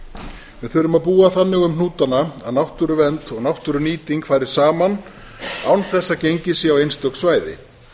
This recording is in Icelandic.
við þurfum að búa þannig um hnútana að náttúruvernd og náttúrunýting fari saman án þess að gengið sé á einstök svæði